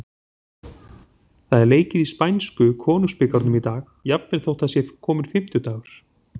Það er leikið í spænsku Konungsbikarnum í dag, jafnvel þótt það sé kominn fimmtudagur.